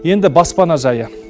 енді баспана жайы